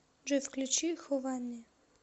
джой включи хованни